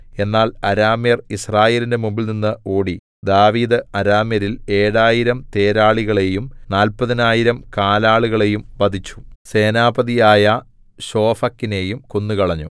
എന്നാൽ അരാമ്യർ യിസ്രായേലിന്റെ മുമ്പിൽനിന്നു ഓടി ദാവീദ് അരാമ്യരിൽ ഏഴായിരം തേരാളികളെയും നാല്പതിനായിരം കാലാളുകളെയും വധിച്ചു സേനാപതിയായ ശോഫക്കിനെയും കൊന്നുകളഞ്ഞു